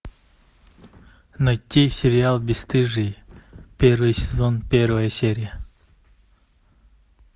найти сериал бесстыжие первый сезон первая серия